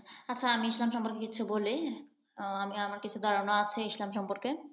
আচ্ছা আমি ইসলাম সম্পর্কে কিছু বলি। আহ আমার কিছু ধারণা আছে ইসলাম সম্পর্কে।